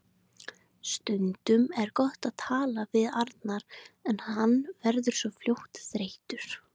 Stundum er gott að tala við Arnar en hann verður svo fljótt þreyttur.